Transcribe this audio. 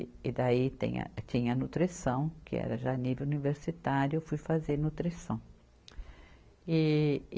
E daí tem a, tinha a nutrição, que era já nível universitário, eu fui fazer nutrição. e